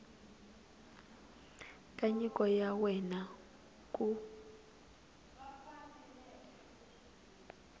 ka nyiko ya wena ku